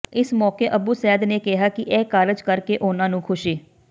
ਇਸ ਮੌਕੇ ਅੱਬੂਸੈਦ ਨੇ ਕਿਹਾ ਕਿ ਇਹ ਕਾਰਜ ਕਰ ਕੇ ਉਨ੍ਹਾਂ ਨੂੰ ਖੁਸ਼ੀ